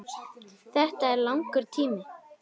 Þetta er langur tími.